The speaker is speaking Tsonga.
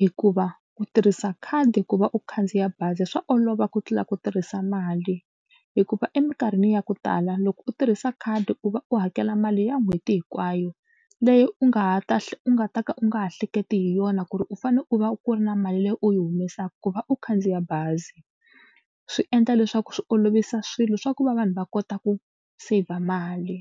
hikuva ku tirhisa khadi ku va u khandziya bazi swa olova ku tlula ku tirhisa mali hikuva emikarhini ya ku tala loko u tirhisa khadi u va u hakela mali ya n'hweti hinkwayo leyi u nga ha u nga ta ka u nga ha hleketi hi yona ku ri u fanele u va ku ri na mali leyi u yi humesaka ku va u khandziya bazi. Swi endla leswaku swi olovisa swilo swa ku va vanhu va kota ku saver mali.